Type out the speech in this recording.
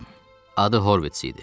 Adı Horvits idi.